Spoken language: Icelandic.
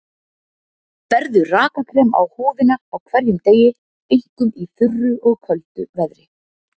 Berðu rakakrem á húðina á hverjum degi, einkum í þurru og köldu veðri.